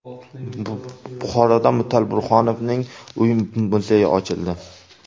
Buxoroda Mutal Burhonovning uy-muzeyi ochildi.